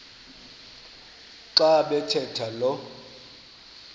xa bathetha lo